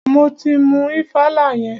Mo ti mú ìfàlà yẹn.